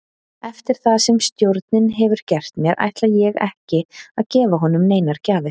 Eftir það sem stjórinn hefur gert mér ætla ég ekki að gefa honum neinar gjafir.